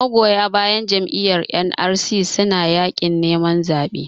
magoya bayan Jam'iyyar NRC suna yakin neman zaɓe